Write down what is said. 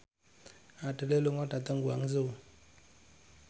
Adele lunga dhateng Guangzhou